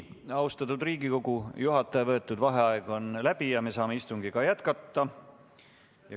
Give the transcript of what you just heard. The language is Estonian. Austatud Riigikogu, juhataja võetud vaheaeg on läbi ja me saame istungit jätkata.